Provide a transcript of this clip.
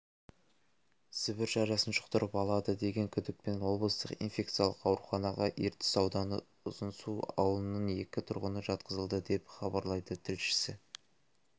сібір жарасын жұқтырып алды деген күдікпен облыстық инфекциялық ауруханаға ертіс ауданы ұзынсу ауылының екі тұрғыны жатқызылды деп хабарлайды тілшісі